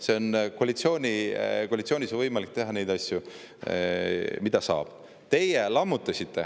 Te saate aru, et koalitsioonis on võimalik teha neid asju, mida saab teha.